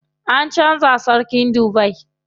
An canza sarkin Dubai.